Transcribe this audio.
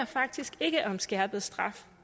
faktisk ikke om skærpet straf